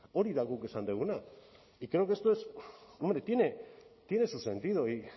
hori da guk esan duguna y creo que esto es hombre tiene su sentido y